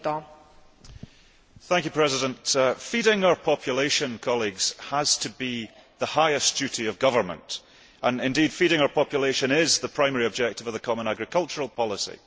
Madam President, feeding our population has to be the highest duty of government, and indeed feeding our population is the primary objective of the common agricultural policy.